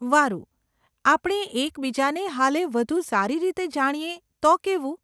વારુ, આપણે એકબીજાને હાલે વધુ સારી રીતે જાણીએ તો કેવું?